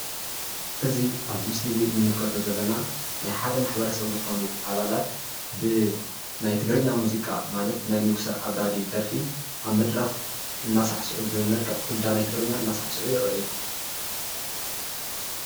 እዚ ኣብዚ ምስሊ እዚ ንምልከቶ ዘለና ናይ ሓደ ማሕበረሰብ ዝኮኑ ኣባላት ብናይ ትግርኛ ሙዚቃ ማለት ብናይ ንጉሰ ኣባዲ ደርፊ ኣብ መድረክ እናሳዕስዑ ብመልክዕ ኩዳ ናይ ትግርኛ እናሳዕስዑ ይርኣዩ ።